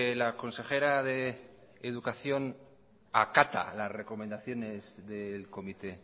la consejera de educación acata las recomendaciones del comité